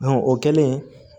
o kɛlen